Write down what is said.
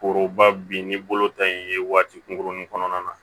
Foroba bin ni bolo ta in ye waati kunkurunnin kɔnɔna na